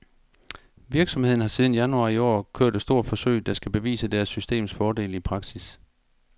Virksomheden har siden januar i år kørt et stort forsøg, der skal bevise deres systems fordele i praksis.